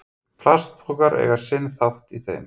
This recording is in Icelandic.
Plastpokar eiga sinn þátt í þeim.